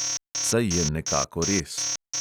Saj je nekako res.